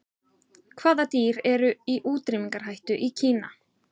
Hvaða dýr eru í útrýmingarhættu í Kína?